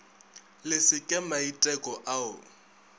le se ke maiteko ao